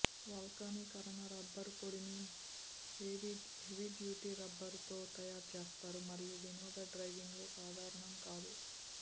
వల్కనీకరణ rubber పొడిని heavy duty రబ్బరుతో తయారు చేస్తారు మరియు వినోద డైవింగ్లో సాధారణం కాదు